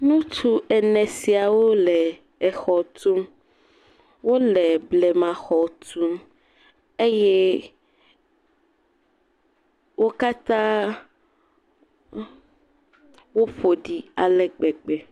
Ŋutsu ene siawo le exɔ tum. Wole blemaxɔ tum eye wo katã woƒo ɖi ale gbegbe.